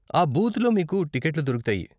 ఆ బూత్లో మీకు టికెట్లు దొరుకుతాయి.